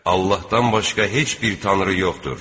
Allahdan başqa heç bir tanrı yoxdur.